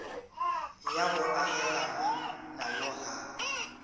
ya go agelana nayo ga